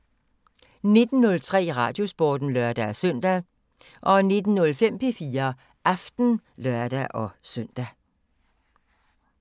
19:03: Radiosporten (lør-søn) 19:05: P4 Aften (lør-søn)